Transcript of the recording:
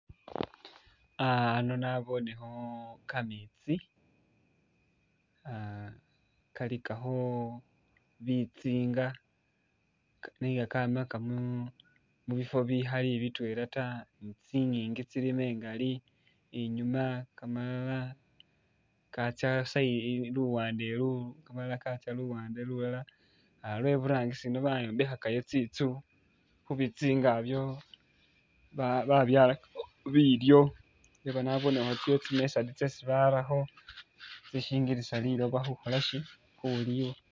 Uh ano nabonekho kametsi uh kalikakho bitsinga nenga kamaaka mu mubifo bikhali bitwela taa kyinginji kyilimo ngaali inyuma kamalala katsa luwande olu, kamalala kakya' luwande lulala uh be buragisi Eno bayombekayo tsinzu khubitsinga ebyo babyalakayo bilyo lwekhuba nabonekho tsi'method tsesi barakho kyisinngilisa liloba khukholasi khulikha